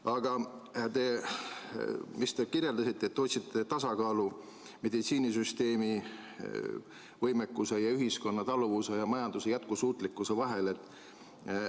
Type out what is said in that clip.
Aga te ütlesite, et te otsite tasakaalu meditsiinisüsteemi võimekuse, ühiskonna taluvuse ja majanduse jätkusuutlikkuse vahel.